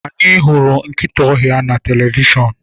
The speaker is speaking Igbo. Anyị hụrụ nkịta ọhịa na televishọn.